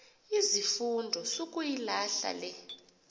izifundo sukuyilahla le